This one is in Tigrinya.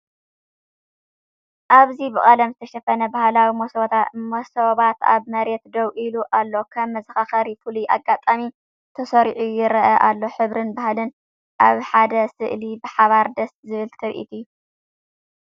ኣብዚ ብቀለም ዝተሸፈነ ባህላዊ መሶባት ኣብ መሬት ደው ኢሉ ኣለው። ከም መዘኻኸሪ ፍሉይ ኣጋጣሚ ተሰሪዑ ይረአ ኣሎ። ሕብርን ባህልን ኣብ ሓደ ስእሊ ብሓባር ደስ ዝብል ትርኢት እዩ።